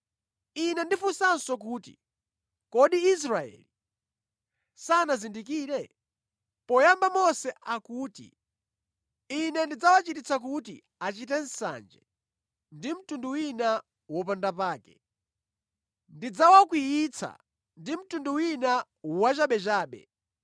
Ine ndifunsanso kuti, kodi Israeli sanazindikire? Poyamba Mose akuti, “Ine ndidzawachititsa kuti achite nsanje ndi mtundu wina wopandapake. Ine ndidzawakwiyitsa ndi mtundu wina wachabechabe.”